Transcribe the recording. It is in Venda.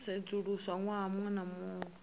sedzuluswa ṅwaha muṅwe na muṅwe